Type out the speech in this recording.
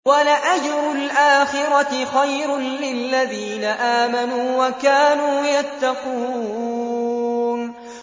وَلَأَجْرُ الْآخِرَةِ خَيْرٌ لِّلَّذِينَ آمَنُوا وَكَانُوا يَتَّقُونَ